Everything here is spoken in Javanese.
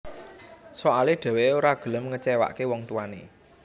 Soale dheweké ora gelem ngecewaké wong tuané